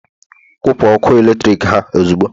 kwụpụ ọkụ eletrik ha ozugbo!